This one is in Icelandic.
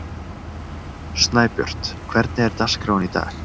Snæbjört, hvernig er dagskráin í dag?